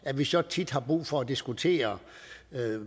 at vi så tit har brug for at diskutere